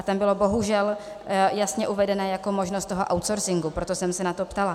A tam byla bohužel jasně uvedena jako možnost toho outsourcingu, proto jsem se na to ptala.